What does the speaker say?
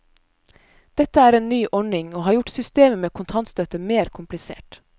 Dette er en ny ordning, og har gjort systemet med kontantstøtte mer komplisert.